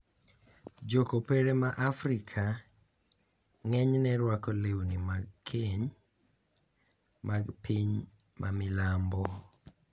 Jo Kopere ma Afrika ng`enyne rwako lewni mag keny mag piny ma milambo .